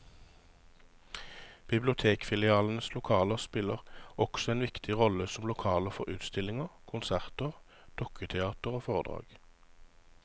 Bibliotekfilialenes lokaler spiller også en viktig rolle som lokaler for utstillinger, konserter, dukketeater og foredrag.